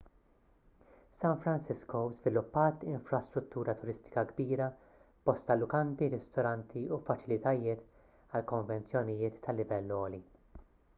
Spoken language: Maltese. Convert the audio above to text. san francisco żviluppat infrastruttura turistika kbira b'bosta lukandi ristoranti u faċilitajiet għal konvenzjonijiet ta' livell għoli